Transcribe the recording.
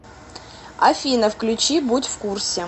афина включи будь в курсе